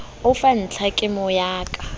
o fa ntlhakemo ya ka